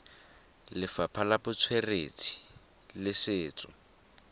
lefapha la botsweretshi le setso